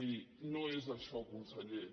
miri no és això conseller